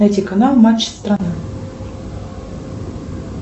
найти канал матч страна